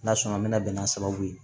N'a sɔnna an mɛna bɛn n'a sababu ye